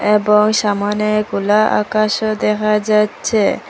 এবং সামোনে খোলা আকাশও দেখা যাচ্ছে।